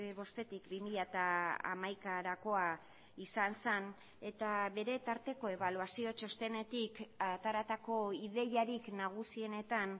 bostetik bi mila hamaikarakoa izan zen eta bere tarteko ebaluazio txostenetik ateratako ideiarik nagusienetan